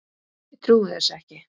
Ég trúi þessu ekki!